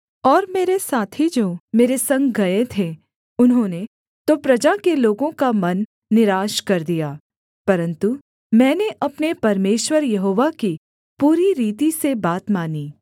और मेरे साथी जो मेरे संग गए थे उन्होंने तो प्रजा के लोगों का मन निराश कर दिया परन्तु मैंने अपने परमेश्वर यहोवा की पूरी रीति से बात मानी